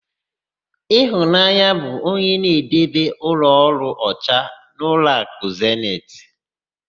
Ịfụnanya bụ onye na-edebe ụlọọrụ ọcha n'ụlọakụ zenit.